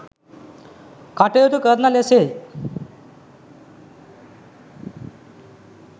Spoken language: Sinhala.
කටයුතු කරන ලෙසයි